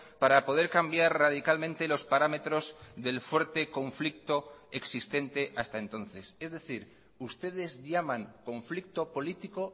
para poder cambiar radicalmente los parámetros del fuerte conflicto existente hasta entonces es decir ustedes llaman conflicto político